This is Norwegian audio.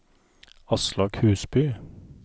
Aslak Husby